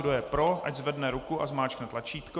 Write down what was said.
Kdo je pro, ať zvedne ruku a zmáčkne tlačítko.